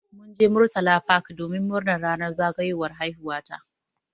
Mun je murtala park domin murnar ranar zagayowar haihuwa ta.